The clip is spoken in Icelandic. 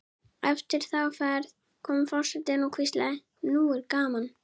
Eftir þá ferð kom forsetinn og hvíslaði: Nú er gaman